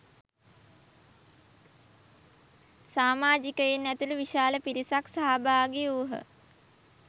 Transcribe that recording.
සාමාජිකයින් ඇතුළු විශාල පිරිසක් සහභාගි වූහ.